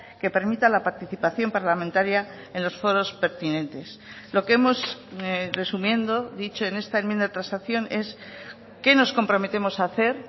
que permita la participación parlamentaria en los foros pertinentes lo que hemos resumiendo dicho en esta enmienda de transacción es qué nos comprometemos a hacer